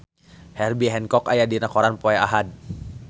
Herbie Hancock aya dina koran poe Ahad